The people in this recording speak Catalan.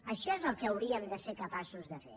això és el que hauríem de ser capaços de fer